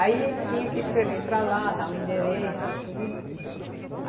Aí ele tinha que escrever para lá, dar o endereço e tudo.